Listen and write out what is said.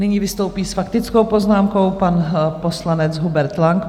Nyní vystoupí s faktickou poznámkou pan poslanec Hubert Lang.